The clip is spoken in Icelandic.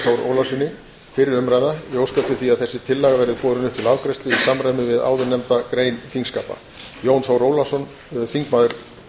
ólafssyni fyrri umræða ég óska eftir því að þessi tillaga verði borin upp til afgreiðslu í samræmi við áðurnefndar grein þingskapa jón þór ólafsson þingmaður